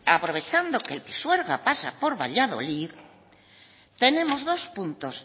aprovechando que el pisuerga pasa por valladolid tenemos dos puntos